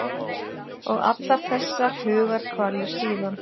Og allar þessar hugarkvalir síðan.